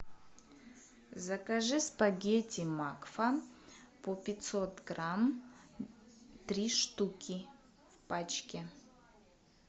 закажи спагетти макфа по пятьсот грамм три штуки в пачке